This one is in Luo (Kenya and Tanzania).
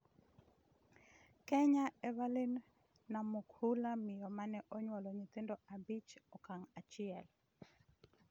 Kenya: Evelyn Namukhula, miyo mane onyuolo nyithindo abich e okang' achiel